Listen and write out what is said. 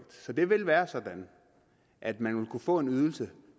så det vil være sådan at man vil kunne få en ydelse